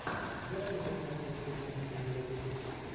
дай мне посмотреть кино пенелопы крус